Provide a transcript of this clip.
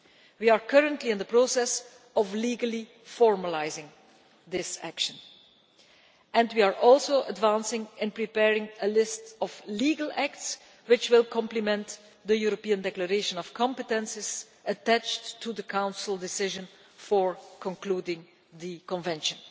We are currently in the process of legally formalising this action and we are also advancing in preparing a list of legal acts, which will complement the EU Declaration of Competences attached to the Council decision for concluding the Convention.